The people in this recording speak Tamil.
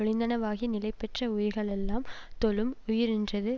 ஒழிந்தனவாகிய நிலைபெற்ற உயிர்களெல்லாம் தொழும் உயிரென்றது